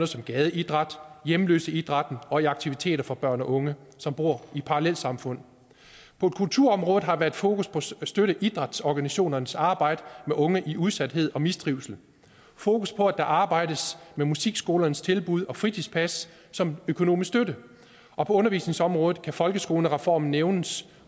som gadeidræt hjemløseidræt og aktiviteter for børn og unge som bor i parallelsamfund på kulturområdet har der været fokus på at støtte idrætsorganisationernes arbejde med unge i udsathed og mistrivsel og fokus på at der arbejdes med musikskolernes tilbud og fritidspas som økonomisk støtte og på undervisningsområdet kan folkeskolereformen nævnes